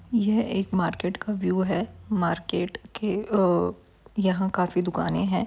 यह एक मार्केट का व्यू है मार्केट के-- आ यहा काफी दुकानें हैं।